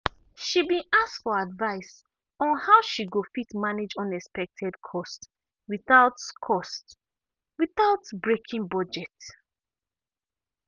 she been ask for advice on how she go fit manage unexpected cost without cost without breaking budget.